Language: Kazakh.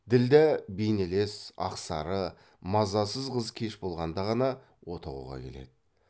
ділдә бейнелес ақсары мазасыз қыз кеш болғанда ғана отауға келеді